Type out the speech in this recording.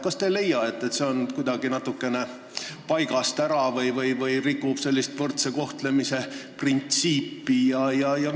Kas te ei leia, et see on kuidagi paigast ära või rikub võrdse kohtlemise printsiipi?